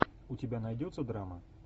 у тебя найдется драма